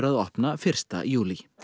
opna fyrsta júlí